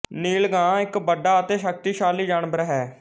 ਨੀਲ ਗਾਂ ਇੱਕ ਵੱਡਾ ਅਤੇ ਸ਼ਕਤੀਸ਼ਾਲੀ ਜਾਨਵਰ ਹੈ